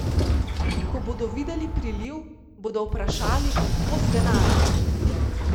Ko bodo videli priliv, bodo vprašali, od kod denar.